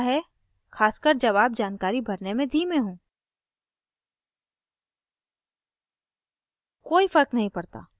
यह message आता रहता है खासकर जब आप जानकारी भरने में धीमे हों